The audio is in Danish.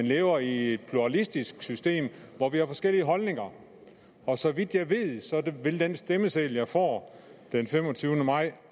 lever i et pluralistisk system hvor vi har forskellige holdninger og så vidt jeg ved vil den stemmeseddel jeg får den femogtyvende maj